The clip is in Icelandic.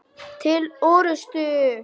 Til orustu!